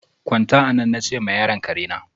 Gwanta anan! na che ma yaron karena.